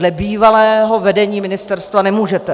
Dle bývalého vedení ministerstva nemůžete.